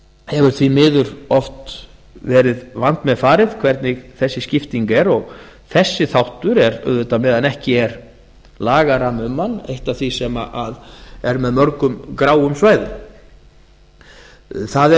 hefur því miður oft verið vandmeðfarið hvernig þessi skipting er og þessi þáttur er auðvitað meðan ekki er lagarammi um hann eitt af því sem er með mörgum gráum svæðum það er